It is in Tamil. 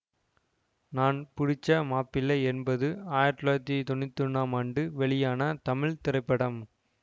நான் புடிச்ச மாப்பிள்ளை என்பது ஆயிரத்தி தொள்ளாயிரத்தி தொன்னூற்தி ஒன்றாம் ஆண்டு வெளியான தமிழ் திரைப்படம்